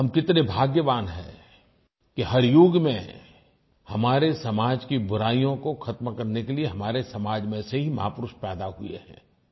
हम कितने भाग्यवान हैं कि हर युग में हमारे समाज की बुराइयों को खत्म करने के लिये हमारे समाज में से ही महापुरुष पैदा हुए हैं